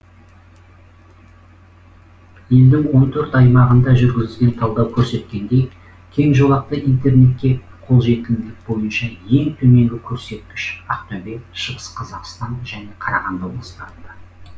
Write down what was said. елдің он төрт аймағында жүргізілген талдау көрсеткендей кең жолақты интернетке қолжетімділік бойынша ең төменгі көрсеткіш ақтөбе шығыс қазақстан және қарағанды облыстарында